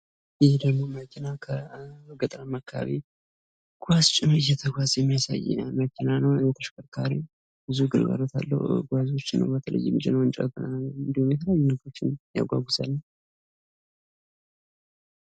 ይህ ደግሞ መኪና ከገጠራማ አካባቢ ጓዝ ጭኖ እየተጓዘ የሚያሳይ መኪና ነው ይህ ተሽከርካሪ ብዙ ጉልበት አለው ጓዞችን እንዲሁም የተለያዩ ነገሮችን ያጓጉዛል።